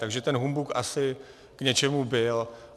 Takže ten humbuk asi k něčemu byl.